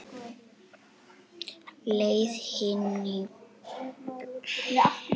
Leið Hannibals frá Íberíuskaganum, yfir Alpana og niður Ítalíuskagann.